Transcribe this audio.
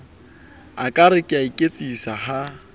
ekare ke a iketsisa ha